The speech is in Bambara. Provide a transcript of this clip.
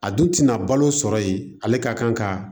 A dun tɛna balo sɔrɔ yen ale ka kan ka